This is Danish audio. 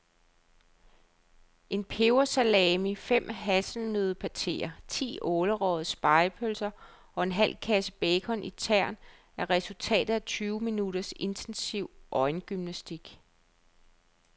En pebersalami, fem hasselnøddepateer, ti ålerøgede spegepølser og en halv kasse bacon i tern er resultatet af tyve minutters intensiv øjengymnastik.